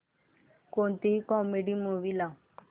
कोणतीही comedy movie लाव